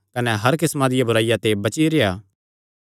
कने हर किस्मा दी बुराईया ते बची रेह्आ